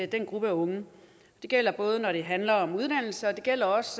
den gruppe af unge det gælder både når det handler om uddannelse og det gælder også